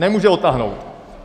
Nemůže odtáhnout.